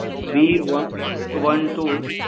Be one, one two